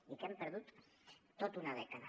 i que hem perdut tota una dècada